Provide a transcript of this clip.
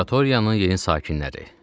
Laboratoriyanın yeni sakinləri.